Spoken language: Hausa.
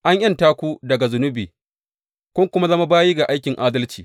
An ’yanta ku daga zunubi, kun kuma zama bayi ga aikin adalci.